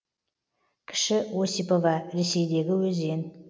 кіші осипова ресейдегі өзен